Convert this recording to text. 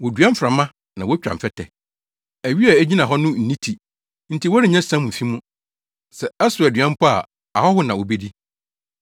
“Wodua mframa na wotwa mfɛtɛ. Awi a egyina hɔ no nni ti; nti wɔrennya siam mfi mu. Sɛ ɛsow aduan mpo a, ahɔho na wobedi.